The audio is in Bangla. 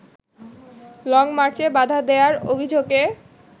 লংমার্চে বাধা দেয়ার অভিযোগে